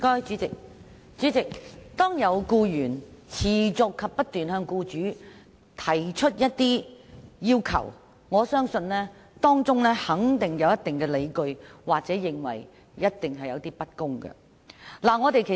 主席，如有僱員持續不斷向僱主提出一些要求，我相信僱員有一定的理據或感覺受到不公對待。